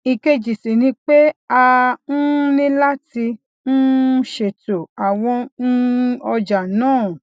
èkejì sì ni pé a um ní láti um ṣètò àwọn um ọjà náà